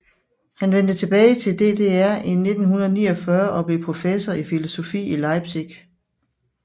Han vendte tilbage til DDR i 1949 og blev professor i filosofi i Leipzig